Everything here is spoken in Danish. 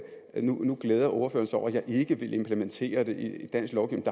nu glæder ordføreren sig over at jeg ikke vil implementere det i dansk lovgivning